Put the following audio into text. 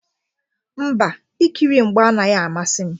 Mba, ikiri mgba anaghị amasị m.